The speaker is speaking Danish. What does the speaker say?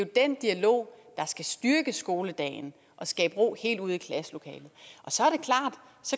den dialog der skal styrke skoledagen og skabe ro helt ud i klasselokalet